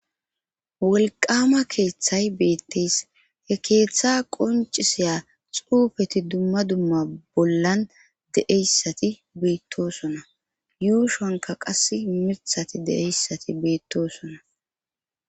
Wolqama keeththay beetteys he keeththa qoncisiya xuufeti dumma dumma bollan deeyssati beettosona yuushonka qas mithati de7eyssati beettosona.